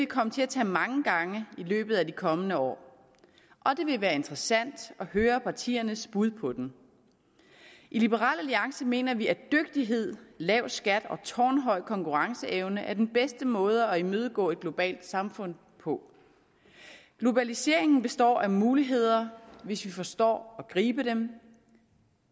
komme til at tage mange gange i løbet af de kommende år og det vil være interessant at høre partiernes bud på den i liberal alliance mener vi at dygtighed lav skat og tårnhøj konkurrenceevne er den bedste måde at imødegå et globalt samfund på globaliseringen består af muligheder hvis vi forstår at gribe dem